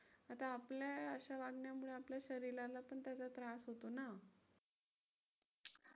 आता आपल्या अशा वागण्यामुळे आपल्या शरीराला पण त्याचा त्रास होतो ना.